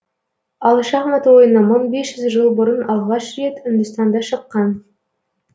ал шахмат ойыны мың бес жүз жыл бұрын алғаш рет үндістанда шыққан